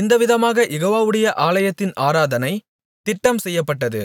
இந்தவிதமாக யெகோவாவுடைய ஆலயத்தின் ஆராதனை திட்டம் செய்யப்பட்டது